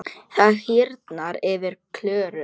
Það hýrnar yfir Klöru.